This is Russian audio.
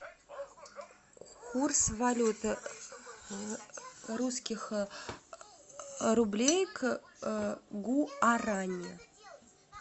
курс валюты русских рублей к гуарани